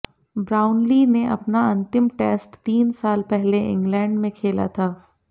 Brownlee ने अपना अंतिम टेस्ट तीन साल पहले इंग्लैंड में खेला था